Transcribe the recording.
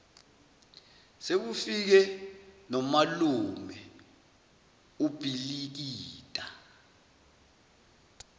sekufike nomalume ubhilikida